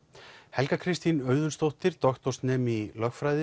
Helga Kristín Auðunsdóttir doktorsnemi í lögfræði